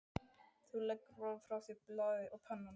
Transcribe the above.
Þú leggur varlega frá þér blaðið og pennann.